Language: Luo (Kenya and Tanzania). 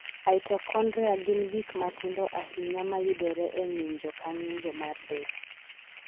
Mitochondria gin gik matindo ahinya mayudore e ng'injo ka ng'injo mar del.